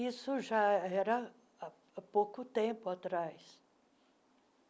Isso já era há pouco tempo atrás.